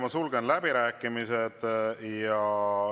Ma sulgen läbirääkimised.